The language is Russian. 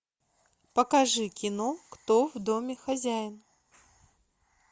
покажи кино кто в доме хозяин